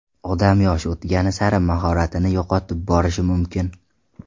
Odam yoshi o‘tgani sari mahoratini yo‘qotib borishi mumkin.